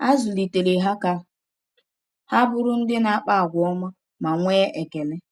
Ha zụlitere ha ka ha bụrụ ndị na-akpa àgwà ọma ma nwee ekele.